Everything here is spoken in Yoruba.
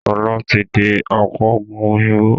Sọlá tí di apoògùn òyìnbó